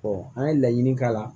an ye laɲini k'a la